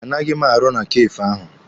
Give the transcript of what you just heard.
A naghị m arụ na Kafee ahụ.